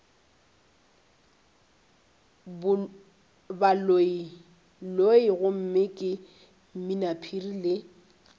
baloiloi gomme ke mminaphiri le